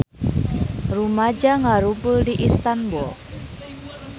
Rumaja ngarumpul di Istanbul